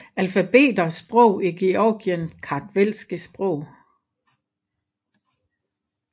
Alfabeter Sprog i Georgien Kartvelske sprog